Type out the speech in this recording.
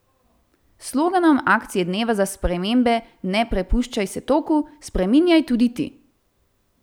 S sloganom akcije dneva za spremembe Ne prepuščaj se toku, spreminjaj tudi ti!